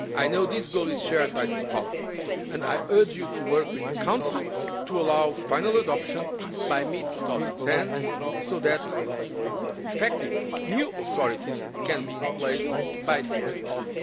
I know this goal is shared by this Parliament, and I urge you to work with the Council to allow final adoption by mid 2010, so that effective new authorities can be in place by the